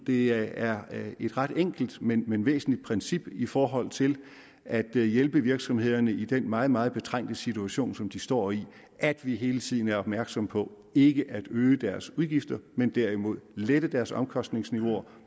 det er et ret enkelt men men væsentligt princip i forhold til at hjælpe virksomhederne i den meget meget betrængte situation som de står i at vi hele tiden er opmærksom på ikke at øge deres udgifter men derimod lette deres omkostningsniveauer